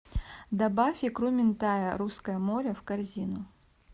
добавь икру минтая русское море в корзину